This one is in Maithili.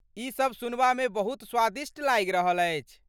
ई सभ सुनबामे बहुत स्वादिष्ट लागि रहल अछि।